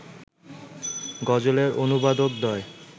গজলের অনুবাদকদ্বয়